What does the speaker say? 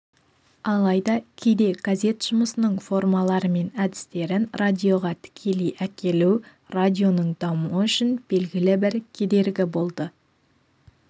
алайда кейде газет жұмысының формалары мен әдістерін радиоға тікелей әкелу радионың дамуы үшін белгілі бір кедергі болды